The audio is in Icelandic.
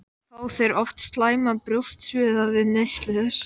Friðþjófur fór helst ekki í verslun.